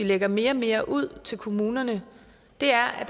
lægger mere og mere ud til kommunerne er at